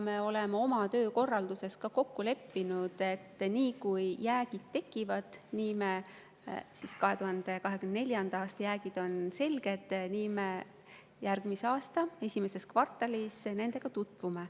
Me oleme oma töökorralduses ka kokku leppinud, et niipea, kui jäägid tekivad, kui 2024. aasta jäägid on selged, me järgmise aasta esimeses kvartalis nendega tutvume.